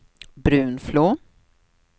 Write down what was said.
Brunflo